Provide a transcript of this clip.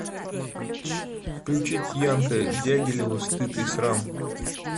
включить янка дягилева стыд и срам